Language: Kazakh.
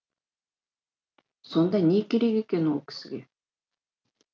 сонда не керек екен о кісіге